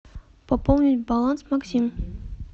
пополнить баланс максим